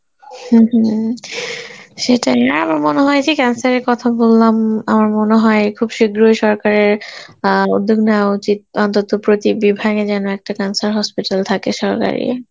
হম হম সেটাই আর আমার মনে হয় সেই cancer এর কথা বললাম আমার মনে হয় খুব শীঘ্রই সরকারের অ্যাঁ উদ্যোগ নেওয়া উচিত অন্তত প্রতি বিভাগে যেন একটা cancer hospital থাকে সরকারি